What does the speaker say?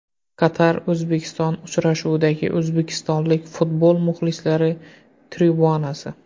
Qatar O‘zbekiston uchrashuvidagi o‘zbekistonlik futbol muxlislari tribunasi.